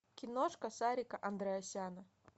киношка сарика андреасяна